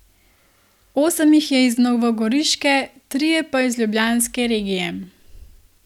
Osem jih je iz novogoriške, trije pa iz ljubljanske regije.